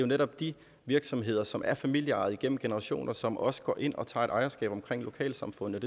netop de virksomheder som er familieejede igennem generationer som også går ind og tager et ejerskab omkring lokalsamfundet